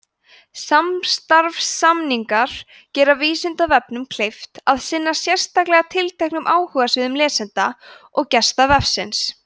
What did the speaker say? samstarfssamningar gera vísindavefnum kleift að sinna sérstaklega tilteknum áhugasviðum lesenda og gesta vefsins